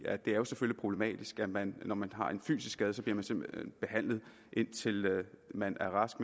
er jo selvfølgelig problematisk at man bliver når man har en fysisk skade indtil man er rask